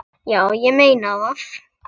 Já, ég meina það.